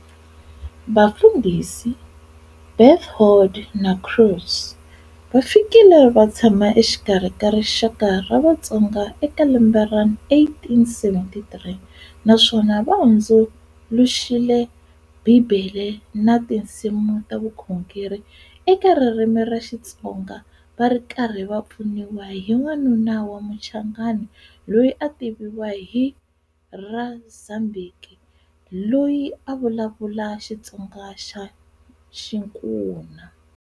Vafundhisi Berthoud na Creux, va fikile va tshama exikarhi ka rixaka ra Vatsonga eka lembe ra 1873 naswona va hundzuluxile Bibele na tinsimu ta vukhongeri eka ririmi ra Xitsonga va ri karhi va pfuniwa hi wanuna wa Muchangana loyi a a tiviwa hi ra Zambiki, loyi a a vulavula Xitsonga xa Xinkuna.